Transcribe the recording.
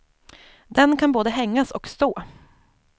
Den kan både hängas och stå.